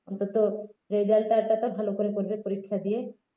অন্তত result টা তো ভাল করে করবে পরীক্ষা দিয়ে